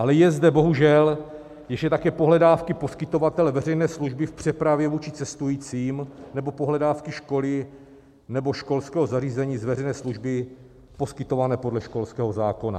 Ale jsou zde bohužel ještě také pohledávky poskytovatele veřejné služby v přepravě vůči cestujícím nebo pohledávky školy nebo školského zařízení z veřejné služby poskytované podle školského zákona.